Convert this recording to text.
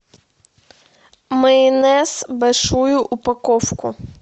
майонез большую упаковку